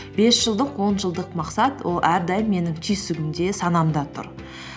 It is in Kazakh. бес жылдық он жылдық мақсат ол әрдайым менің түйсігімде санамда тұр